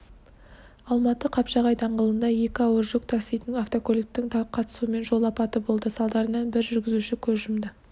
алматы қапшағай даңғылында екі ауыр жүк таситын автокөліктің қатысуымен жол апаты болды салдарынан бір жүргізуші көз жұмды